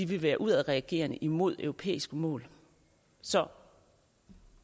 vil være udadreagerende mod europæiske mål så